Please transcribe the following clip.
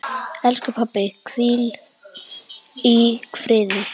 Elsku pabbi, hvíl í friði.